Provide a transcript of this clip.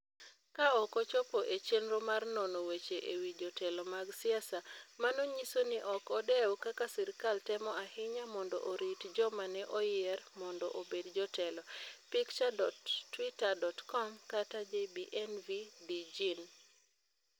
Ka ok ochopo e chenro mar nono weche e wi jotelo mag siasa, mano nyiso ni ok odew kaka sirkal temo ahinya mondo orit joma ne oyier mondo obed jotelo pic.twitter.com/JBEnVyDJin